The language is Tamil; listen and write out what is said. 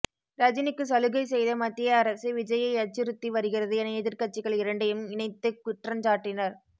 ரஜினிக்கு சலுகை செய்த மத்திய அரசு விஜய்யை அச்சுறுத்தி வருகிறது என எதிர்கட்சிகள் இரண்டையும் இணைத்து குற்றஞ்சாட்டினர்